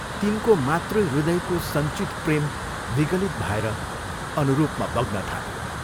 तिनको मातृहृदयको सञ्चित प्रेम विगलित भएर अनुरूपमा बग्नथाल्यो।